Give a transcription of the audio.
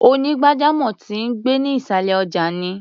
Onígbàjamọ̀ tó ń gbé ní ìṣàlẹ̀ ọjà ni.